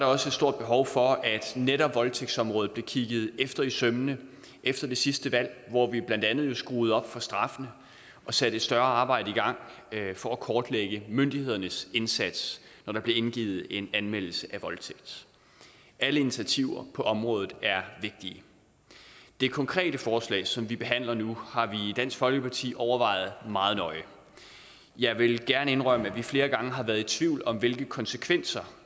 også et stort behov for at netop voldtægtsområdet blev kigget efter i sømmene efter det sidste valg hvor vi blandt andet skruede op for straffene og satte et større arbejde i gang for at kortlægge myndighedernes indsats når der bliver indgivet en anmeldelse af voldtægt alle initiativer på området er vigtige det konkrete forslag som vi behandler nu har vi i dansk folkeparti overvejet meget nøje jeg vil gerne indrømme at vi flere gange har været tvivl om hvilke konsekvenser